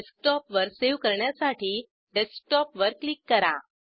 file डेस्कटॉपवर save करण्यासाठी desktop वर क्लिक करा